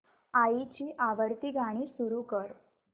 आईची आवडती गाणी सुरू कर